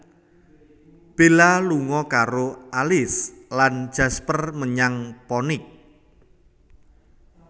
Bella lunga karo Alice lan Jasper menyang Phoenix